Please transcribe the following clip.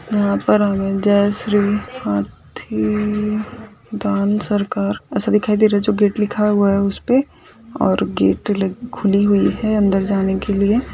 यहाँ पर हमे जय श्री हथी दान सरकार ऐसा दिखाई दे रहा है जो की गेट लिखा हुआ है उसपे और गेट खुली हुई है अंदर जाने के लिए।